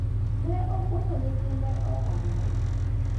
ne opuonjo nyithinde ohala